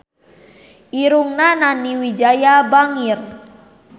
Irungna Nani Wijaya bangir